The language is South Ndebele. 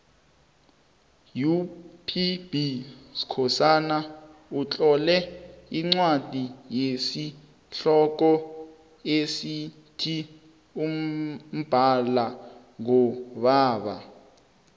upb skhosana utlole incwadi yesihloko esithi mbala ngubaba